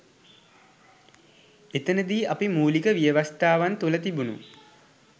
එතනදි අපි මූලික ව්‍යවස්ථාවන් තුළ තිබුණු